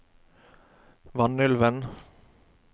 Vanylven